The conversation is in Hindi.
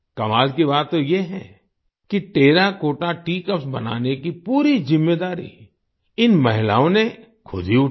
कमाल की बात तो ये है की टेराकोटा टीईए कप्स बनाने की पूरी जिम्मेदारी इन महिलाओं ने खुद ही उठाई